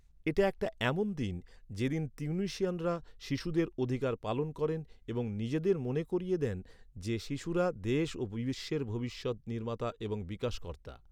এটা একটা এমন দিন, যে দিন তিউনিসিয়ানরা, শিশুদের অধিকার পালন করেন এবং নিজেদের মনে করিয়ে দেন যে, শিশুরা দেশ ও বিশ্বের ভবিষ্যৎ নির্মাতা এবং বিকাশকর্তা।